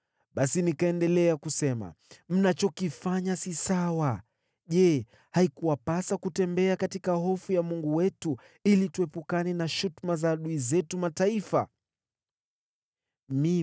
Basi nikaendelea kusema, “Mnachokifanya si sawa. Je, haikuwapasa kutembea katika hofu ya Mungu wetu ili tuepukane na shutuma za adui zetu wasioamini?